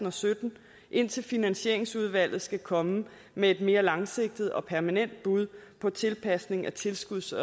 og sytten indtil finansieringsudvalget skal komme med en mere langsigtet og permanent bud på tilpasning af tilskuds